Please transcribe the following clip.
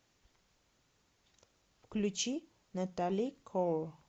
включи натали коул